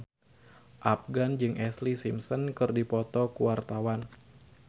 Afgan jeung Ashlee Simpson keur dipoto ku wartawan